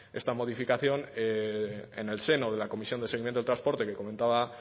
esta modificación en el seno de la comisión de seguimiento del transporte que comentaba